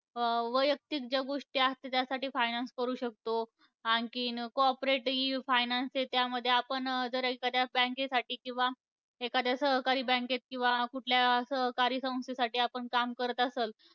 वैयक्तिक ज्या गोष्टी असतात त्यासाठी finance करू शकतो, आणखीन cooperative finance आहे, त्यामध्ये आपण जर एखाद्या bank साठी किंवा एखाद्या सहकारी bank मध्ये किंवा कुठल्या सहकारी संस्थेसाठी आपण काम करत असाल,